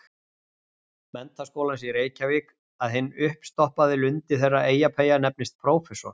Menntaskólans í Reykjavík- að hinn uppstoppaði lundi þeirra Eyjapeyja nefnist prófessor.